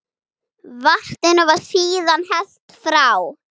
Vatninu var síðan hellt frá.